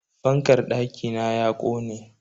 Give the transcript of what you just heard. Fankar dakina ya kone.